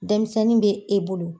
Denmisɛnnin bɛ e bolo.